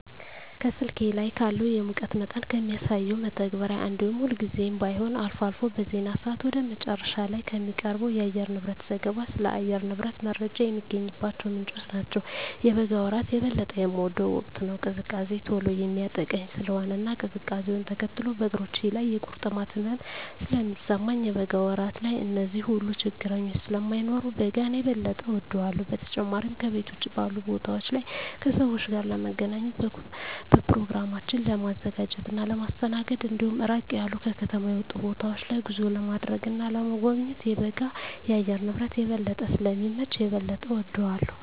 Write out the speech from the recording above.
ከስልኬ ላይ ካለው የሙቀት መጠንን ከሚያሳሰው መተግበሪያ እንዲሁም ሁልጊዜም ባይሆን አልፎ አልፎ በዜና ሰአት ወደ መጨረሻ ላይ ከሚቀርበው የአየርንብረት ዘገባ ስለ አየር ንብረት ጀመረ የሚገኝባቸው ምንጮች ናቸው። የበጋ ወራት የበለጠ የምወደው ወቅት ነው። ቅዝቃዜ ቶሎ የሚያጠቃኝ ስለሆነ እና ቅዝቃዜውነ ተከትሎ በእግሮቼ ላይ የቁርጥማት ህመም ስለሚሰማኝ የበጋ ወራት ላይ እነዚህ ሁሉ ችግረኞች ስለማይኖሩ በጋን የበጠ እወዳለሁ። በተጨማሪም ከቤት ውጭ ባሉ ቦታወች ላይ ከሰወች ጋር ለመገናኘት፣ በኘሮግራሞችን ለማዘጋጀት እና ለማስተናገድ እንዲሁም ራቅ ያሉ ከከተማ የወጡ ቦታወች ላይ ጉዞ ለማድረግ እና ለመጎብኘት የበጋ የአየር ንብረት የበለጠ ስለሚመች የበለጠ እወደዋለሁ።